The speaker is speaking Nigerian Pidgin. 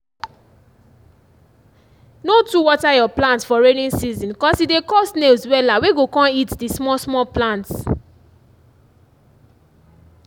no too water your plants for rainy season cos e dey call snails wella wey go con eat the small small plants